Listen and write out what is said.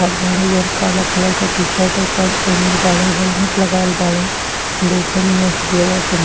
खाड़ बाड़े जौन काला कलर के टी-शर्ट और पेंट पहीनल बाड़ेहेलमेट लगावल बाड़े। देखे में --